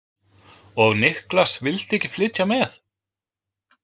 Og Niklas vildi ekki flytja með?